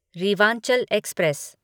Rewanchal express